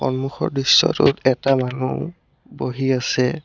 সন্মুখৰ দৃশ্যটোত এটা মানুহ বহি আছে।